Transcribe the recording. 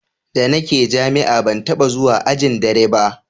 da ni ke jami'a ban taba zuwa ajin dare ba